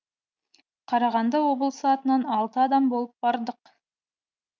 қарағанды облысы атынан алты адам болып бардық